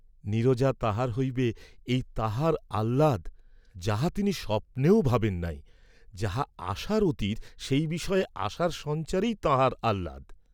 নীরজা তাঁহার হইবে এই তাঁহার আহ্লাদ; যাহা তিনি স্বপ্নেও ভাবেন নাই, যাহা আশার অতীত সেই বিষয়ে আশার সঞ্চারেই তাঁহার আহলাদ।